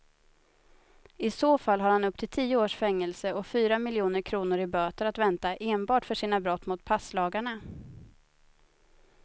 I så fall har han upp till tio års fängelse och fyra miljoner kronor i böter att vänta enbart för sina brott mot passlagarna.